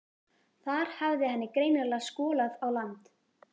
Þar hafði henni greinilega skolað á land.